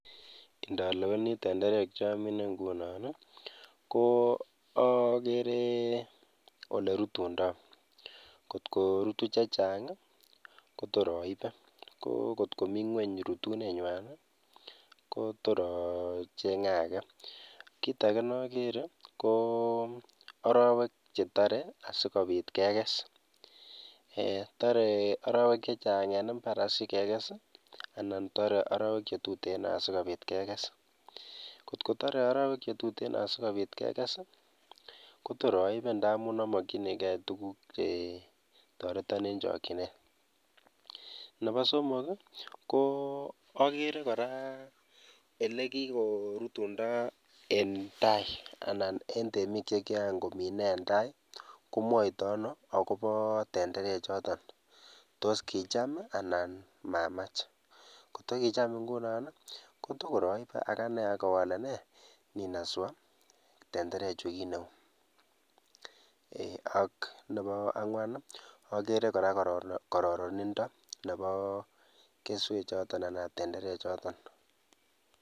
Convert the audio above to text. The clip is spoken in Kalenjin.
Indoleweni tenderek chomine ng'unon i ko okeree olerutundo, kotkorutu chechang i kotor oibee ko kotkoming'weny rutunenywan i kotor ocheng'e akee, kiit akee nokeree ko orowek chetoree asikobit kekees eeh toree orowek chechang en imbar asikekes anan toree orowek chetuten asikobit kekees kotkotoree orowek chetuten asikobit kekes i kotor oibee ndamun omokyinikee tukuk chetoreton en chokyinet, neboo somok i ko okeree kora elekikorutundo en taii anan en temiik chekian kominee en taii komwoitoo anoo akoboo tendereechoton, toos kicham i anan mamach, kotkokicham ng'unon i kotokor oibee ak anee akibole nee?, nenaswaa tenderechu kiit neuu, ak neboo ang'wan okeree kororonindo neboo keswechoton anan tendereechoton.